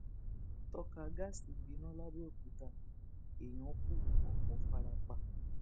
tọkà gáàsì gbiná làbẹọkútà èèyàn kù ọpọ fara pa